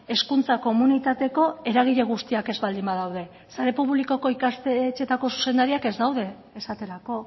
hezkuntza komunitateko eragile guztiak ez baldin badaude sare publikoko ikastetxeetako zuzendariak ez daude esaterako